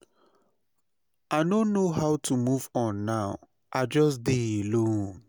I no know how to move on now, i just dey alone.